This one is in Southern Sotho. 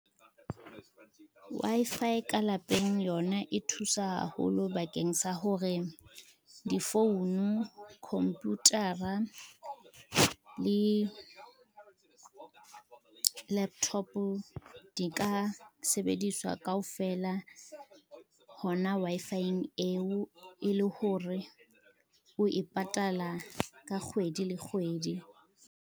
Wi-Fi ka lapeng yona e thusa haholo bakeng sa hore difounu, computer-a le, laptop di ka sebediswa kaofela hona Wi-Fi-eng eo e le hore o e patala ka kgwedi le kgwedi.